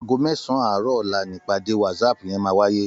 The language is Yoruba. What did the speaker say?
Àgó mèsán àárò òlá nipàdé wàtsáp yèn màwáyé